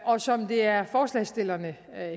og som det er forslagsstillerne